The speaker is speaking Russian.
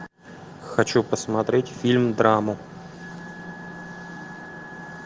хочу посмотреть фильм драму